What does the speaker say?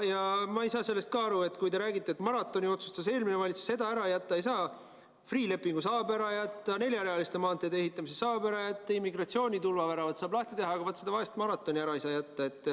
Ja ma ei saa sellest ka aru, et te räägite, et maratoni otsustas eelmine valitsus ja seda ära jätta ei saa, aga Freeh' lepingu saab ära jätta, neljarealiste maanteede ehitamise saab ära jätta, immigratsioonitulva väravad saab lahti teha, aga vaat seda vaest maratoni ära ei saa jätta.